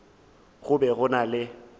go be go na le